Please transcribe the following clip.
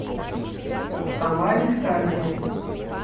тамаре витальевне